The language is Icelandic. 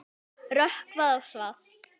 Rökkvað og svalt.